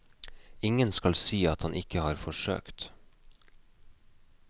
Ingen skal si han ikke har forsøkt.